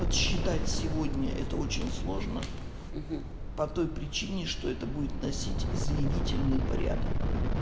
подсчитать сегодня это очень сложно по той причине что это будет носить заявительный порядок